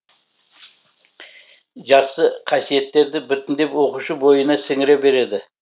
жақсы қасиеттерді біртіндеп оқушы бойына сіңіре береді